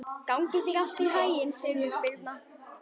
Gangi þér allt í haginn, Sigurbirna.